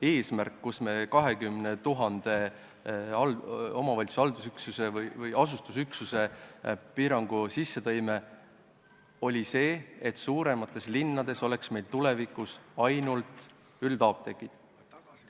Eesmärk sättel, millega me tõime sisse 20 000 elanikuga haldus- või asustusüksuse piirangu, oli see, et tulevikus oleks meil suuremates linnades ainult üldapteegid.